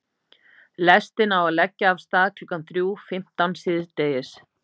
Lestin á að leggja af stað klukkan þrjú fimmtán síðdegis.